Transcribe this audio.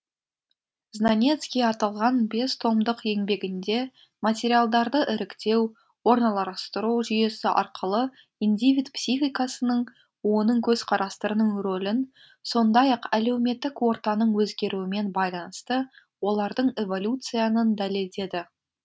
знанецкий аталған бес томдық еңбегінде материалдарды іріктеу орналастыру жүйесі арқылы индивид психикасының оның көзқарастарының рөлін сондай ақ әлеуметтік ортаның өзгеруімен байланысты олардың эволюциянын дәлелдеді